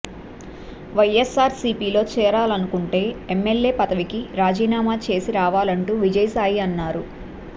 వైఎస్ఆర్సిపిలో చేరాలనుకుంటే ఎమ్మెల్యే పదవికి రాజీనామా చేసి రావాలంటూ విజయసాయి అన్నారు